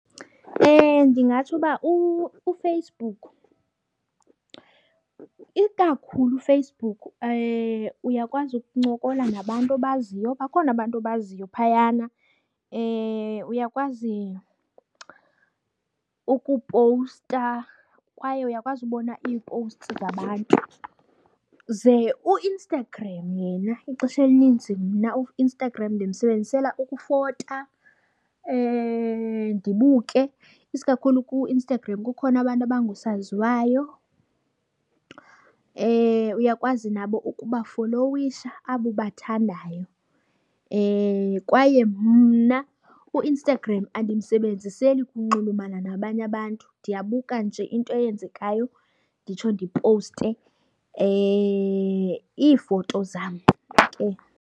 Ndingatsho uba uFacebook ikakhulu uFacebook uyakwazi ukuncokola nabantu obaziyo, bakhona abantu obaziyo phayana. Uyakwazi ukupowusta kwaye uyakwazi ukubona iipowusti zabantu. Ze uInstagram yena, ixesha elininzi mna uInstagram ndimsebenzisela ukufota ndibuke. Isikakhulu kuInstagram kukhona abantu abangoosaziwayo, uyakwazi nabo ukubafolowisha abo ubathandayo. Kwaye mna uInstagram andimsebenziseli kunxulumana nabanye abantu, ndiyabuka nje into eyenzekayo nditsho ndiposte iifoto zam ke.